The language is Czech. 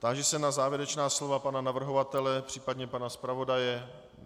Táži se na závěrečná slova pana navrhovatele, případně pana zpravodaje.